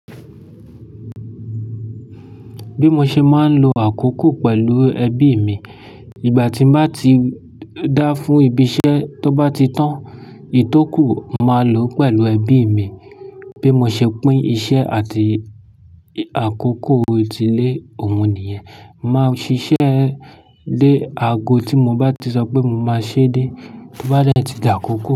Bí mo ṣe máa ń lo àkókò pẹ̀lú ẹbí mi, ìgbà tí n bá ti dá fún ibi iṣẹ́, tó bá ti tán, ìtókù máa lò pẹ̀lú ẹbí mi. Bí mo ṣe pín iṣẹ́ àti àkókò tilé, òun nìyẹn. Máa ṣiṣẹ́ dé aago tí mo bá ti sọ pé mo máa ṣe dé, to bá dè ti di àkókò.